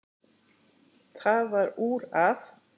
Það varð úr að